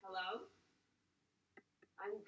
bydd yn ymddwyn fel dŵr mae'r dryloyw yn gwmws fel dŵr